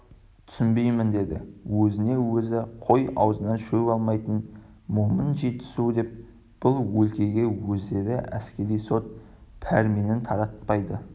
түсінбеймін деді өзіне өзі қой аузынан шөп алмайтын момын жетісу деп бұл өлкеге өздері әскери сот пәрменін таратпайды